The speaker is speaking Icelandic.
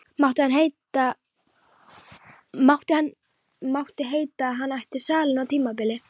Mátti heita að hann ætti salinn á tímabili.